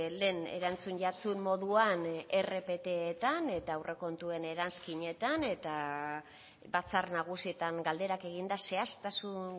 lehen erantzun jatsun moduan rpttan eta aurrekontuen eranskinetan eta batzar nagusietan galderak eginda zehaztasun